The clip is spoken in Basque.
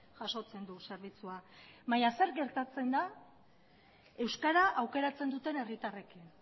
jasotzen du zerbitzua baina zer gertatzen da euskara aukeratzen duten herritarrekin